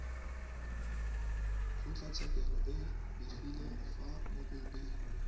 kgotlatshekelo e begile fa mokopi